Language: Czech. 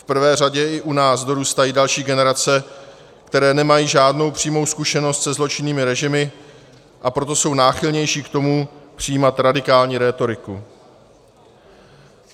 V prvé řadě i u nás dorůstají další generace, které nemají žádnou přímou zkušenost se zločinným režimy, a proto jsou náchylnější k tomu přijímat radikální rétoriku.